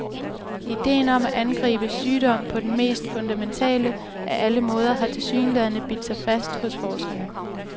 Ideen om at angribe sygdom på den mest fundamentale af alle måder har tilsyneladende bidt sig fast hos forskerne.